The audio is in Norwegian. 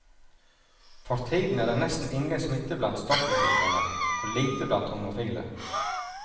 For tiden er det nesten ingen smitte blant stoffmisbrukere, og lite blant homofile.